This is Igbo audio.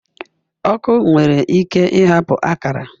Ọkụ nwere ike ịhapụ akara